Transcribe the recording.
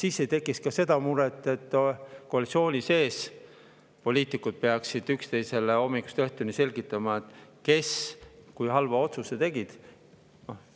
Siis ei tekiks ka seda muret, et koalitsiooni sees peaksid poliitikud üksteisele hommikust õhtuni selgitama, kes kui halva otsuse tegid.